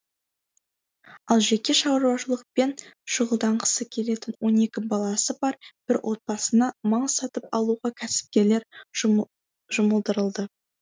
ал жеке шаруашылықпен шұғылданғысы келетін он екі баласы бар бір отбасына мал сатып алуға кәсіпкерлер жұмылдырылды